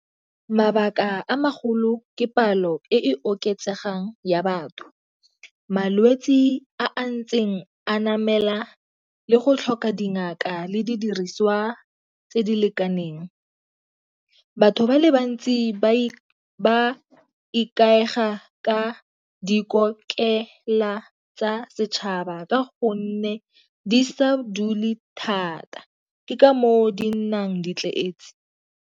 Mabaka a magolo ke palo e oketsegang ya batho malwetsi a a ntseng a namela le go tlhoka dingaka le didiriswa tse di lekaneng. Batho ba le bantsi ba ba ikaega ka dikokelong tsa tsa setšhaba ka gonne di sa dule thata ke ka moo di nnang di tletse.